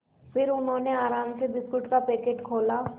फिर उन्होंने आराम से बिस्कुट का पैकेट खोला